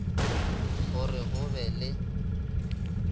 go re go be le